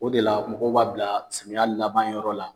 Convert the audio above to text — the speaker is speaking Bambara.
O de la mɔgɔw b'a bila samiya laban yɔrɔ la.